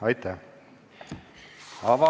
Aitäh!